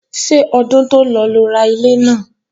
Ṣé ọdún tó lọ lo ra ilé náà?